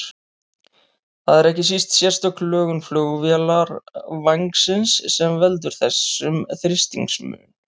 Það er ekki síst sérstök lögun flugvélarvængsins sem veldur þessum þrýstingsmun.